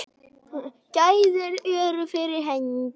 Gæðin eru fyrir hendi.